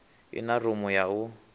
i na rumu ya u